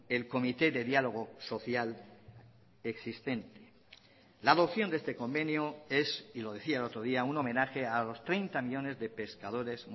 el comité de diálogo social existente la adopción de este convenio es y lo decía el otro día un homenaje a los treinta millónes de pescadores